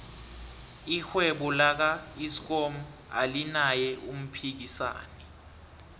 irhwebo laka eskom alinaye umphikisani